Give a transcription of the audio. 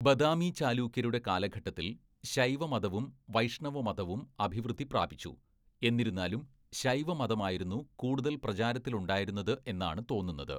ബദാമി ചാലൂക്യരുടെ കാലഘട്ടത്തിൽ ശൈവമതവും വൈഷ്ണവമതവും അഭിവൃദ്ധി പ്രാപിച്ചു, എന്നിരുന്നാലും ശൈവമതമായിരുന്നു കൂടുതൽ പ്രചാരത്തിലുണ്ടായിരുന്നത് എന്നാണ് തോന്നുന്നത്.